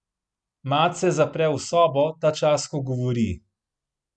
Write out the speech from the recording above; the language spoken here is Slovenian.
Mat se zapre v sobo, tačas ko govori.